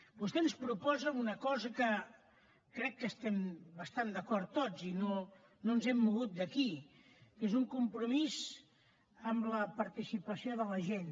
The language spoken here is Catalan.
vostè ens proposa una cosa que crec que hi estem bastant d’acord tots i no ens hem mogut d’aquí que és un compromís amb la participació de la gent